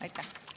Aitäh!